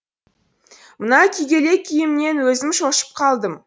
мына күйгелек күйімнен өзім шошынып қалдым